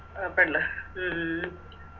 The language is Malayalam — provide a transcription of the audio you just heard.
ആ പെണ്ണ് ഉം ഉം ഉം